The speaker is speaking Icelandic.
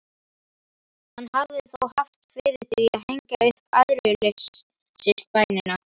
Hann hafði þó haft fyrir því að hengja upp æðruleysisbænina.